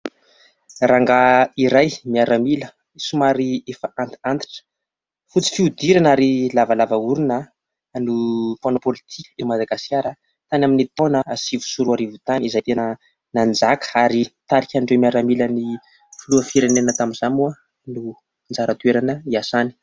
Rangahy iray miaramila somary efa antitr'antitra, fotsy fihodirina ary lavalava orona no mpanao politikan' i Madagasikara. Tany amin'ny taona sivy sy roa arivo tany izay tena nanjaka ary nitarika an'ireo miaramilan' ny filoham- pirenena tamin'izay moa no anjara toerana niasany.